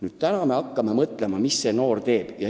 Nüüd me küsime, mida see noor teeb.